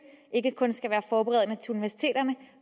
ikke kun skal være forberedende til universiteterne